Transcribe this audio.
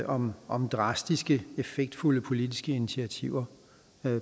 om om drastiske effektfulde politiske initiativer